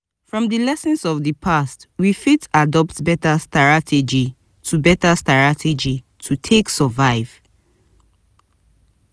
from di lessons of di past we fit adopt better starategy to better starategy to take survive